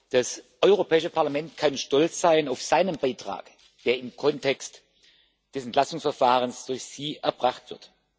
Das Europäische Parlament kann stolz sein auf seinen Beitrag, der im Kontext des Entlastungsverfahrens durch Sie erbracht wird.